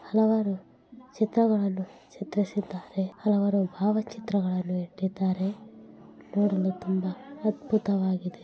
ಹಲವಾರು ಚಿತ್ರಗಳನ್ನು ಚಿತ್ರಿಸಿದ್ದಾರೆ. ಹಲವಾರು ಭಾವ ಚಿತ್ರಗಳನ್ನು ಇಟ್ಟಿದ್ದಾರೆ. ನೋಡಲು ತುಂಬ ಅದ್ಭುತವಾಗಿದೆ.